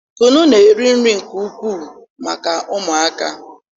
kunu na-eri nri nke ukwuu maka ụmụaka